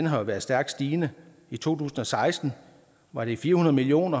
har været stærkt stigende i to tusind og seksten var det fire hundrede million